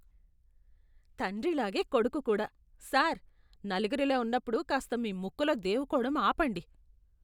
తండ్రిలాగే, కొడుకు కూడా. సార్, నలుగురిలో ఉన్నప్పుడు కాస్త మీ ముక్కులో దేవుకోవడం ఆపండి.